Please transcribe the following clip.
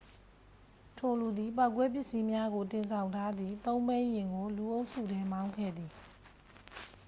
ထိုလူသည် ပေါက်ကွဲပစ္စည်းများ တင်ဆောင်ထားသည် သုံးဘီးယာဉ်ကို လူအုပ်စုထဲ မောင်းခဲ့သည်